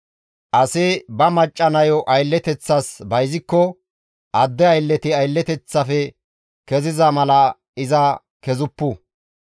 «Asi ba macca nayo aylleteththas bayzikko adde aylleti aylleteththafe keziza mala iza kezuppu.